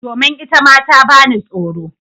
Domin itama ta bani tsoro.